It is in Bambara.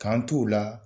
K'an t'o la